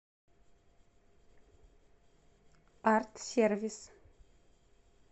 арт сервис